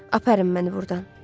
Aparın mən burdan.